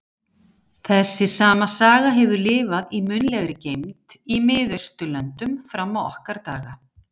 Þessi sama saga hefur lifað í munnlegri geymd í Mið-Austurlöndum fram á okkar daga.